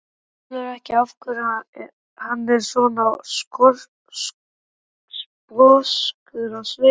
Skilur ekki af hverju hann er svona sposkur á svipinn.